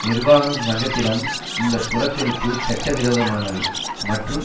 நிர்வாகம் சங்கத்திடம் இந்த புறக்கணிப்பு சட்ட விரோதமானது மற்றும்